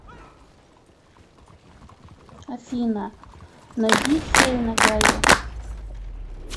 афина найди нейна гайо